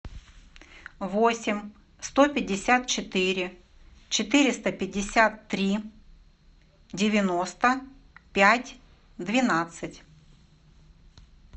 восемь сто пятьдесят четыре четыреста пятьдесят три девяносто пять двенадцать